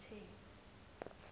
bathe